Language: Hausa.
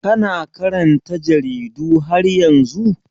Kana karanta jaridu har yanzu?